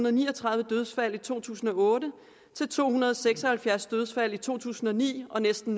og ni og tredive dødsfald i to tusind og otte til to hundrede og seks og halvfjerds dødsfald i to tusind og ni og næsten